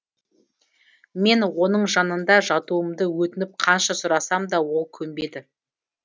мен оның жанына жатуымды өтініп қанша сұрасам да ол көнбеді